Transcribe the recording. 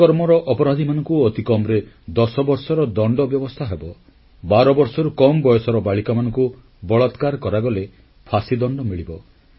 ଦୁଷ୍କର୍ମର ଅପରାଧୀମାନଙ୍କୁ ଅତିକମରେ 10 ବର୍ଷର ଦଣ୍ଡ ବ୍ୟବସ୍ଥା ହେବ ଏବଂ 12 ବର୍ଷରୁ କମ୍ ବୟସର ବାଳିକାମାନଙ୍କୁ ବଳାତ୍କାର କରାଗଲେ ଫାଶୀ ଦଣ୍ଡ ମିଳିବ